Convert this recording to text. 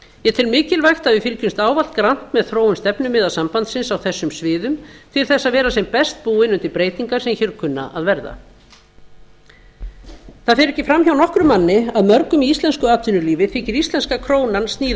ég tel mikilvægt að við fylgjumst ávallt grannt með þróun stefnumiða sambandsins á þessum sviðum til að vera sem best búin undir breytingar sem hér kunna að ferða það fer ekki fram hjá nokkrum manni að mörgum í íslensku atvinnulífi þykir íslenska krónan sníða